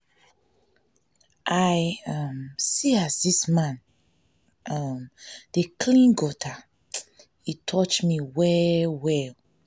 i um see as dis man um dey clean gutter e touch me well-well.